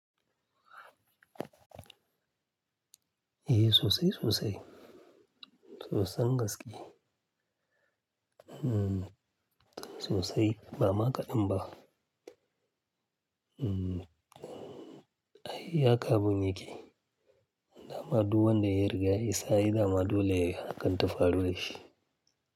Eh sosai, sosai. Sosai gaskiya. Sosai, ba ma kaɗan ba. Ai haka abun yake. Dama duk wanda ya riga ya isa ai dama dole hakan ta faru da shi.